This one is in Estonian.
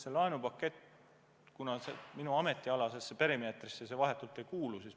See laenupakett minu ametialasesse perimeetrisse vahetult ei kuulu.